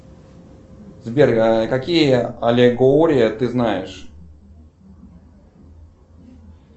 сбер какие аллегории ты знаешь